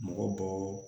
Mɔgɔ bɔ